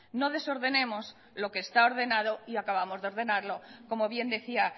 no desordenemos lo que está ordenado y acabamos de ordenarlo como bien decía